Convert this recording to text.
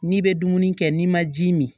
N'i bɛ dumuni kɛ n'i ma ji min